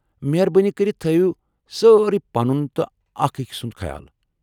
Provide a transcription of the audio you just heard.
مہربٲنی كرِتھ تھٲوِو سٲری پنُن تہٕ اکھ أکۍ سُنٛد خیال۔